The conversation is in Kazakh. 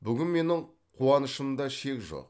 бүгін менің қуанышымда шек жоқ